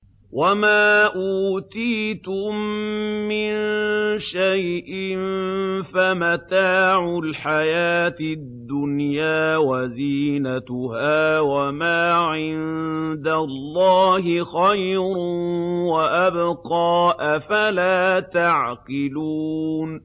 وَمَا أُوتِيتُم مِّن شَيْءٍ فَمَتَاعُ الْحَيَاةِ الدُّنْيَا وَزِينَتُهَا ۚ وَمَا عِندَ اللَّهِ خَيْرٌ وَأَبْقَىٰ ۚ أَفَلَا تَعْقِلُونَ